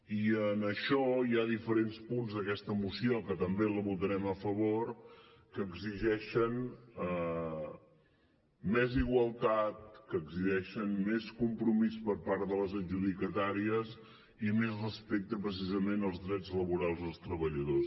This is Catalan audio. i en això hi ha diferents punts d’aquesta moció que també els votarem a favor que exigeixen més igualtat que exigeixen més compromís per part de les adjudicatàries i més respecte precisament als drets laborals dels treballadors